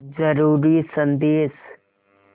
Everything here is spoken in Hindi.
ज़रूरी संदेश